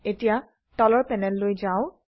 এতিয়া তলৰ প্যানেললৈ যাও